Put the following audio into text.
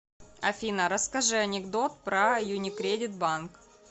афина расскажи анекдот про юникредит банк